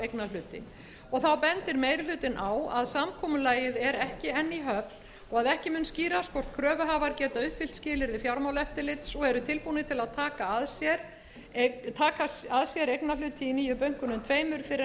eignarhluti þá bendir meiri hlutinn á að samkomulagið er ekki enn í höfn og að ekki mun skýrast hvort kröfuhafar geta uppfyllt skilyrði fjármálaeftirlits og eru tilbúnir til að taka að sér eignarhluti í nýju bönkunum tveimur fyrr en